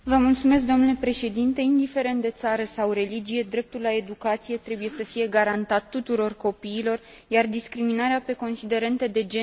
Indiferent de țară sau religie, dreptul la educație trebuie să fie garantat tuturor copiilor, iar discriminarea pe considerente de gen este de condamnat.